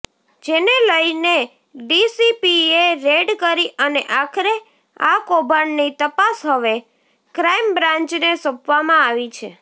જેને લઇને ડીસીપીએ રેડ કરી અને આખરે આ કૌભાંડની તપાસ હવે ક્રાઇમબ્રાંચને સોંપવામાં આવી છે